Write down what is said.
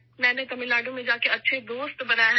میں نے تمل ناڈو میں جاکر اچھے دوست بنائے ہیں